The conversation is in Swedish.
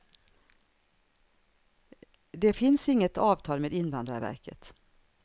Det finns inget avtal med invandrarverket.